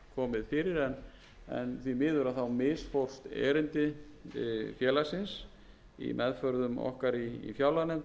fyrir en því miður þá misfórst erindi félagsins og það hlaut